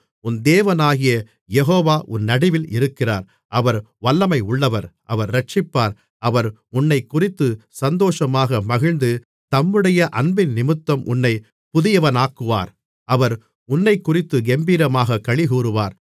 உன் தேவனாகிய யெகோவா உன் நடுவில் இருக்கிறார் அவர் வல்லமையுள்ளவர் அவர் இரட்சிப்பார் அவர் உன்னைக்குறித்து சந்தோஷமாக மகிழ்ந்து தம்முடைய அன்பினிமித்தம் உன்னை புதியவனாக்குவார் அவர் உன்னைக்குறித்து கெம்பீரமாகக் களிகூருவார்